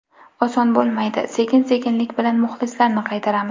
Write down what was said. Oson bo‘lmaydi, sekin-sekinlik bilan muxlislarni qaytaramiz.